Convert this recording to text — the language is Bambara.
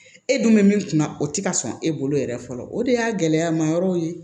E dun bɛ min kunna o tɛ ka sɔn e bolo yɛrɛ fɔlɔ o de y'a gɛlɛyama yɔrɔ ye